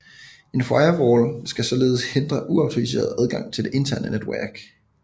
En firewall skal således hindre uautoriseret adgang til det interne netværk